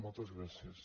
moltes gràcies